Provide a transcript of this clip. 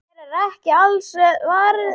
Þér er ekki alls varnað.